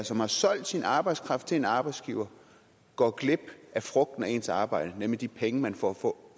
som har solgt sin arbejdskraft til en arbejdsgiver går glip af frugten af sit arbejde nemlig de penge man får for